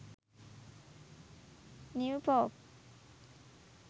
new pope